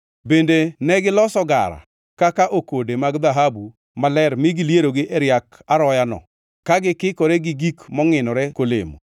Bende negiloso gara kaka okode mag dhahabu maler mi gilierogi e riak aroyano ka gikikore gi gik mongʼinore kolemo.